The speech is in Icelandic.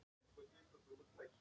Þú stendur þig vel, Mark!